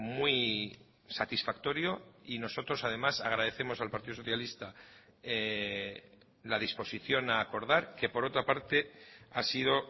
muy satisfactorio y nosotros además agradecemos al partido socialista la disposición a acordar que por otra parte ha sido